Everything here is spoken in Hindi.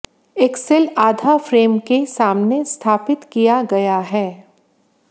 एक्सल आधा फ्रेम के सामने स्थापित किया गया है